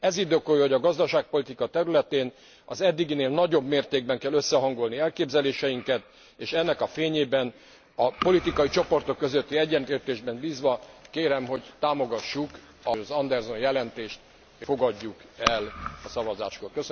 Ez indokolja, hogy a gazdaságpolitika területén az eddiginél nagyobb mértékben kell összehangolni elképzeléseinket, és ennek a fényében a politikai csoportok közötti egyetértésben bízva, kérem, hogy támogassuk az Anderson jelentést, fogadjuk el a szavazáskor.